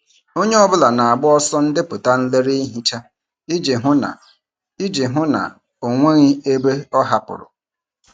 Onye ọ bụla na-agbaso ndepụta nlele ihicha iji hụ na iji hụ na ọ nweghị ebe a hapụrụ.